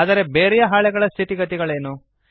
ಆದರೆ ಬೇರೆಯ ಹಾಳೆಗಳ ಸ್ಥಿತಿಗತಿಗಳೇನು